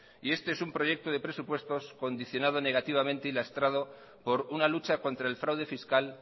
y este es un proyecto de presupuesto condicionado negativamente y lastrado por una lucha contra el fraude fiscal